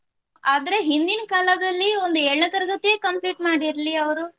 ಆದ್ರೆ ಹಿಂದಿನ್ ಕಾಲದಲ್ಲಿ ಒಂದು ಏಳನೇ ತರಗತಿಯೇ complete ಮಾಡಿರ್ಲಿ ಅವ್ರು